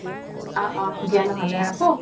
অহ অহ দিয়া নহ'লে ৰাখো